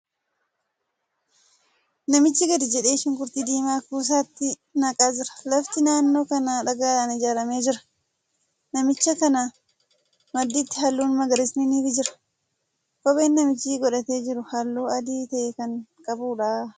Namichi gadi jedhee shunkurtii diimaa kuusatti naqaa jira. Lafti naannoo kanaa dhagaadhan ijaaramee jira. Namicha kana madditti haallun magariisni ni jira. Kopheen namichi godhatee jiru haalluu adii ta'e kan qabuudha.